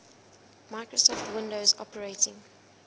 microsoft windows operating